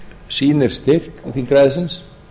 sýnir styrk þingræðisins